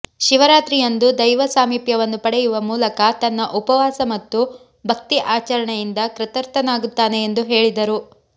ಶಿವರಾತ್ರಿಯಂದು ದೈವ ಸಾಮಿಪ್ಯವನ್ನು ಪಡೆಯುವ ಮೂಲಕ ತನ್ನ ಉಪವಾಸ ಮತ್ತು ಭಕ್ತಿ ಆಚರಣೆಯಿಂದ ಕೃತಾರ್ಥನಾಗುತ್ತಾನೆ ಎಂದು ಹೇಳಿದರು